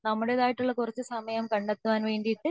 നാമ്മളുടേതായിട്ട് കുറച്ച സമയം കണ്ടെത്താൻ വേണ്ടിയിട്ട്